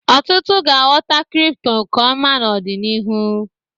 Ọtụtụ ga-aghọta kripto nke ọma n'ọdịnihu